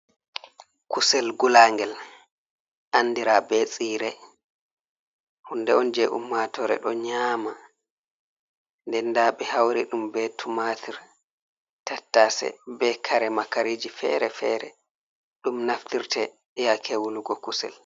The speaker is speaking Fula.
Kusel gulaagel anndira be siire, hunde on jey ummatoore, ɗo nyaama. Nden ndaa ɓe hawri ɗum, be tumaatir, tattase, be kare makariji feere-feere, ɗum naftirte yaake wulugo kusel.